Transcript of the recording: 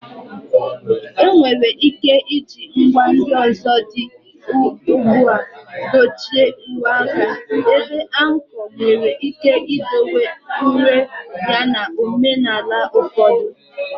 Enwere ike iji ngwa ndị ọzọ dị ugbu a dochie uwe aka, ebe anko nwere ike idowe uru ya na omenala ụfọdụ.